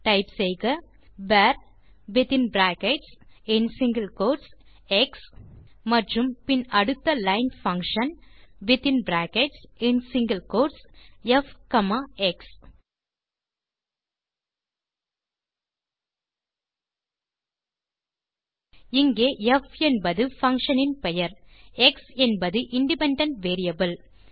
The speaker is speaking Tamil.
டைப் செய்க வர் வித்தின் பிராக்கெட்ஸ் மற்றும் சிங்கில் கோட்ஸ் எக்ஸ் மற்றும் பின் அடுத்த லைன் பங்ஷன் வித்தின் பிராக்கெட்ஸ் மற்றும் single quotes f comma x இங்கே ப் என்பது பங்ஷன் இன் பெயர் எக்ஸ் என்பது இண்டிபெண்டன்ட் வேரியபிள்